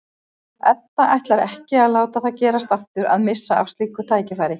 Edda ætlar ekki að láta það gerast aftur að missa af slíku tækifæri.